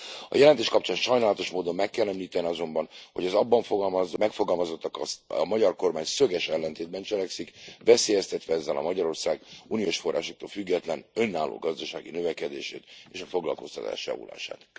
A jelentés kapcsán sajnálatos módon meg kell említeni azonban, hogy az abban megfogalmazottakkal a magyar kormány szöges ellentétben cselekszik, veszélyeztetve ezzel Magyarország uniós forrásoktól független, önálló gazdasági növekedését és a foglalkoztatás javulását.